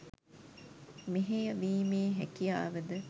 මෙහෙය වීමේ හැකියාව ද